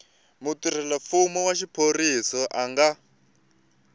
mutirhelamfumo wa xiphorisa a nga